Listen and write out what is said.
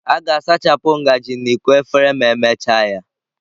A ga-asachapụ ngaji na iko efere ma emechaa ya.